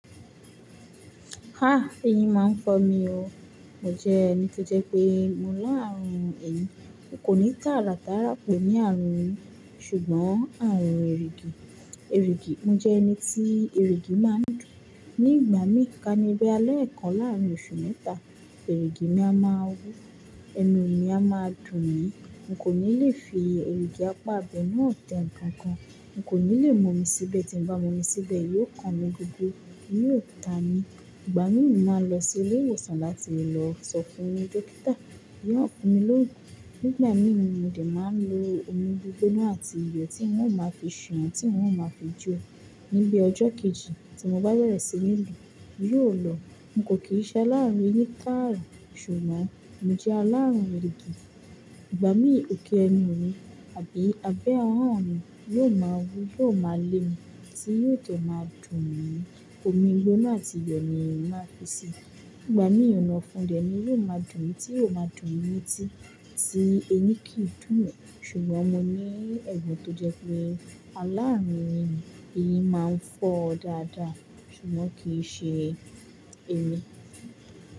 Ha! Eyín máa ń fọ́ mi o. Mo jẹ ẹni tó jẹ pé mo láàrùn eyín. N kò ní tààrà tààrà pẹ̀ ni àrùn eyín ṣùgbọ́n àrùn erigì. Erigì, mo jẹ ẹni tí erigì máa ń dùn. Ni ìgbà mí, ká ní bí i leekan láàrín oṣù mẹ́ta, erigì mi a máa wú, ẹnu mi a máa dùn mí. N kò ní lè fi erigì apá ibẹ náà tẹ ǹkan kan. N kò ní lè mú omi síbẹ̀ tí ń bá mú omi síbẹ̀, yóò kàn mí gogo, yóò ta mí. Ìgbà min mo màá n lọ sí ilé ìwòsàn láti lọ sọ fún dọ́kítà. Yóò fún mi lóògùn. Nígbà mín, mo dẹ̀ máa ń lo omi gbígbona àti iyọ̀ tí n ó máa fi ṣan, tí n ó máa fi jó. Níbi ọjọ́ kejì tí mo bá bẹ̀rẹ̀ sí ní lò ó, yóò lọ. N kò kí n ṣe alárùn eyín tààrà ṣùgbọ́n mo jẹ́ alárùn erigì. Ìgbà mí òkè ẹnu mi àbí abẹ́ ahọ́n mi yóò máa wú, yóò máa lé'mi tí yóò dẹ̀ máa dùn mí. Omi gbígboná àti iyọ̀ ni ma n fi ṣi. Nígbà mí ònà ofún dẹ̀ ní yóò máa dùn mí tí yóò máa dùn mí ní tí tí ẹni kì í dùn mí ṣùgbọ́n mo ní ẹ̀gbọ̀n tó jẹ́ pé alárùn eyín, eyín máa ń fọ́ dáadáa ṣùgbọ́n kì í ṣe emi.